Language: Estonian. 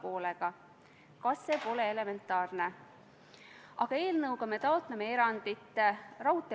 Veel kord, seal on, eks ole, "kuni", vastavalt vajadusele saab Kaitsevägi sinna meie sõdureid saata.